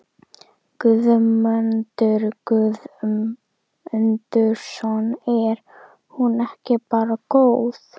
Guðmundur Guðmundsson: Er hún ekki bara góð?